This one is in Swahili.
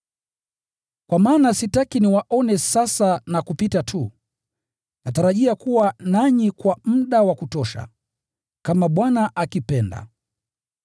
Kwa maana sitaki niwaone sasa na kupita tu; natarajia kuwa nanyi kwa muda wa kutosha, kama Bwana akipenda.